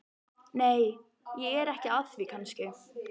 Nei, ég er ekki að því kannski.